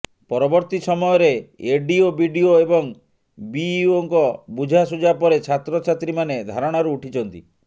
ପରବର୍ତ୍ତୀ ସମୟରେ ADO BDO ଏବଂ ବିଇଓ ଙ୍କ ବୁଝାସୁଝାପରେ ଛାତ୍ରଛାତ୍ରୀ ମାନେ ଧାରଣାରୁ ଉଠିଛନ୍ତି